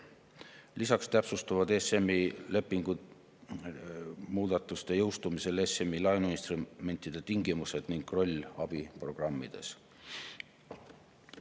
Lisaks täpsustuvad ESM‑i lepingu muudatuste jõustumisel ESM‑i laenuinstrumentide tingimused ning roll abiprogrammides.